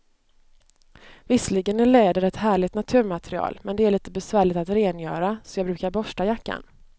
Visserligen är läder ett härligt naturmaterial, men det är lite besvärligt att rengöra, så jag brukar borsta jackan.